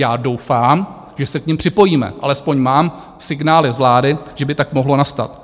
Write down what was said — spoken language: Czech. Já doufám, že se k nim připojíme, alespoň mám signály z vlády, že by tak mohlo nastat.